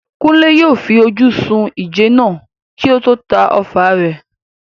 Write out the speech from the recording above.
Kunle yóò fi ojú sun ìjẹ náà kí ó tó ta ọfà rẹ̀.